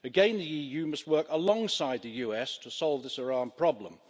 Again the EU must work alongside the US to solve this Iran problem.